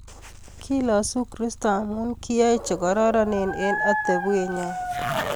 Kilasu kristo amu kiyoy che kororonen eng atepwet nyon